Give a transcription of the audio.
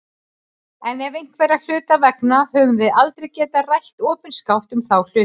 En einhverra hluta vegna höfum við aldrei getað rætt opinskátt um þá hluti.